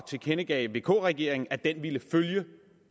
tilkendegav vk regeringen at den vil følge